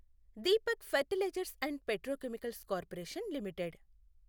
Deepak fertilizers and petrochemicals corporation limited